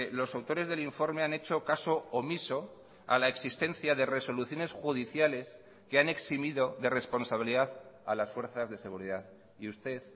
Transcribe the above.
los autores del informe han hecho caso omiso a la existencia de resoluciones judiciales que han eximido de responsabilidad a las fuerzas de seguridad y usted